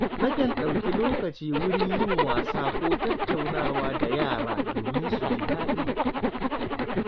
Nakan ɗauki lokaci wurin yin wasa ko tattaunawa da yara domin su ji daɗi.